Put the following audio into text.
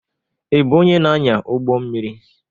Ị bụ onye na-anya ụgbọ mmiri?